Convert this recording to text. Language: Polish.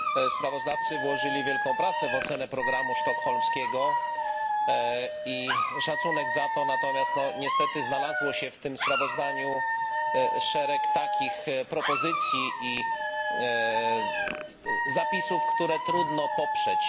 Sprawozdawcy włożyli wielką pracę w ocenę programu sztokholmskiego i szacunek za to, natomiast niestety znalazło się w tym sprawozdaniu szereg takich propozycji i zapisów, które trudno poprzeć.